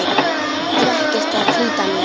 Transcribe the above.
Er ekkert að flýta sér.